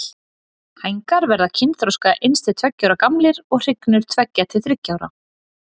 Hængar verða kynþroska eins til tveggja ára gamlir og hrygnur tveggja til þriggja ára.